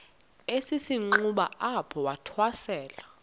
esisenxuba apho wathwasela